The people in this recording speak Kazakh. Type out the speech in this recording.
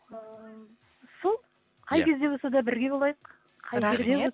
ы сол иә қай кезде болса да бірге болайық рахмет